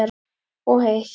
Og heitt.